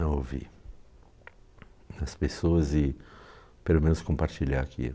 a ouvir as pessoas e, pelo menos, compartilhar aquilo.